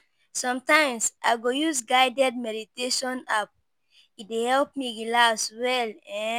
Sometimes I go use guided meditation [ app; e dey help me relax well.